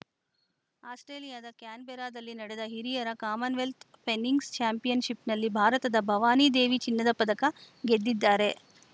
ಆಸ್ಪ್ರೇಲಿಯಾದ ಕ್ಯಾನ್‌ಬೆರಾದಲ್ಲಿ ನಡೆದ ಹಿರಿಯರ ಮನ್‌ವೆಲ್ತ್‌ ಫೆನ್ಸಿಂಗ್‌ ಚಾಂಪಿಯನ್‌ಶಿಪ್‌ನಲ್ಲಿ ಭಾರತದ ಭವಾನಿ ದೇವಿ ಚಿನ್ನದ ಪದಕ ಗೆದ್ದಿದ್ದಾರೆ